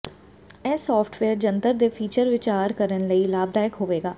ਇਹ ਸਾਫਟਵੇਅਰ ਜੰਤਰ ਦੇ ਫੀਚਰ ਵਿਚਾਰ ਕਰਨ ਲਈ ਲਾਭਦਾਇਕ ਹੋਵੇਗਾ